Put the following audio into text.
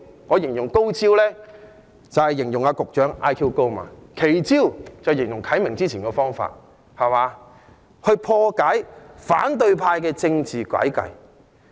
我說高招，是指局長 IQ 高，奇招是指何啟明議員早前提出的方法，用以破解反對派的政治詭計。